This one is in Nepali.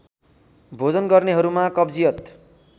भोजन गर्नेहरूमा कब्जियत